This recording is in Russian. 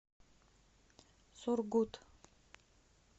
сургут